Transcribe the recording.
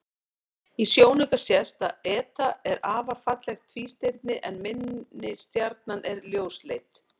Í sjónauka sést að eta er afar fallegt tvístirni en minni stjarnan er ljósleit.